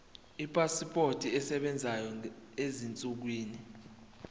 ipasipoti esebenzayo ezinsukwini